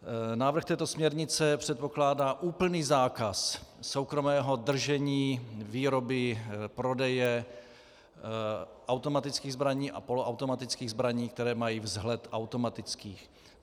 Návrh této směrnice předpokládá úplný zákaz soukromého držení, výroby, prodeje automatických zbraní a poloautomatických zbraní, které mají vzhled automatických.